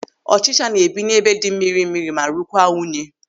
Ọchịcha na-ebi n'ebe dị mmiri mmiri ma rukwa unyi.